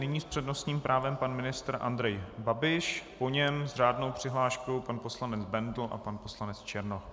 Nyní s přednostním právem pan ministr Andrej Babiš, po něm s řádnou přihláškou pan poslanec Bendl a pan poslanec Černoch.